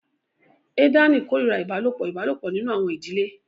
Ethani kórìíra ìbálòpọ̀ ìbálòpọ̀ nínú àwọn ìdílé